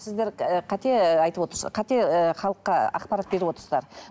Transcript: сіздер ііі қате айтып отырсыз қате халыққа ақпарат беріп отырсыздар